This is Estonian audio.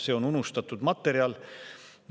See on unustatud materjal.